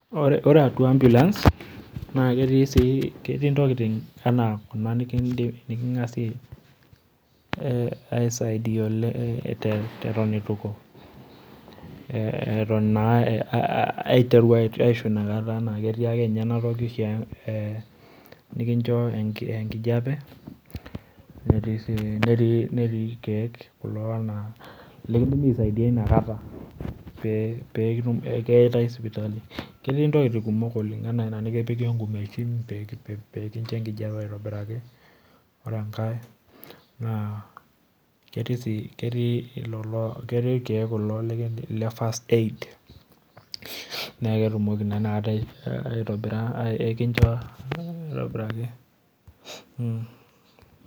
Ore atua ambulance naa ketii sii ketii ntokitin anaa kuna sii nikindim aisaidia ale eton aiteru aisho inakata naa ketii ake ninye enatoki nikincho enkijepe, netii ilkeek kulo naa likindim aisaidia inakatai pe eitae sipitali. Ketii ntokitin kumok oleng anaa inatoki ee ngumechin pee ekincho nkijepe aitobiraki, ore enkae naa ketii lelo, ketii ilkeek kulo le first aid naa ketumoki naa inakatai aitobira ekincho aitobiraki.